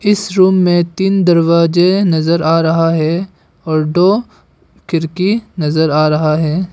इस रूम में तीन दरवाजे नजर आ रहा है और दो खिड़की नजर आ रहा है।